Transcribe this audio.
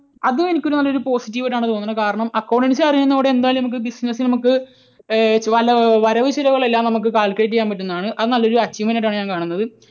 അതെനിക്ക് നല്ല ഒരു positive ആയിട്ടാണ് തോന്നുന്നത്. കാരണം accountancy അറിയുന്നതോടുകൂടി എന്തായാലും നമുക്ക് ഏർ business ൽ നമുക്ക് വല്ല വരവ് ചിലവുകൾ എല്ലാം നമുക്ക് calculate ചെയ്യാൻ പറ്റുന്നതാണ്. അത് നല്ലൊരു achievement ആയിട്ടാണ് ഞാൻ കാണുന്നത്.